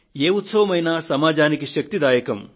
ఏ ఉత్సవమైనా సమాజానికి శక్తిప్రదాయకం